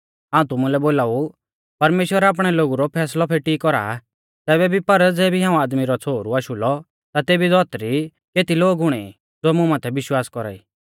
हाऊं तुमुलै बोलाऊ परमेश्‍वर आपणै लोगु रौ फैसलौ फेटी कौरा तैबै भी पर ज़ेबी हाऊं आदमी रौ छ़ोहरु आशु लौ ता तेबी धौतरी केती लोग हुणै ई ज़ो मुं माथै विश्वास कौरा ई